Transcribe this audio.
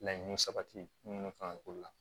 Laɲini sabati minnu kan ka k'o la